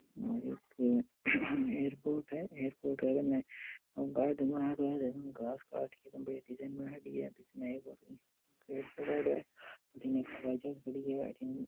ओ एक एयरपोर्ट है एयरपोर्ट के कने गार्डन बनाएडो है घास काट के एकदम बढ़िया डिज़ाइन बनाएड़ी है बिच में एक और पेड़ पौधा है अठीन एक हवाई जहाज खड़ी है अठीन --